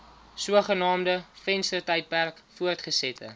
sogenaamde venstertydperk voortgesette